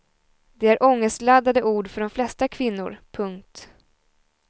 Det är ångestladdade ord för de flesta kvinnor. punkt